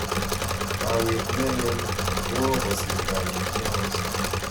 kaweet neleel koo kosir kawet neos.